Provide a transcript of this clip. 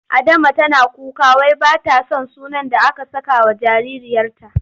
Adama tana kuka wai ba ta son sunan da aka sakawa jaririyarta.